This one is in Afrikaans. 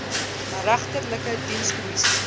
regterlike dienskom missie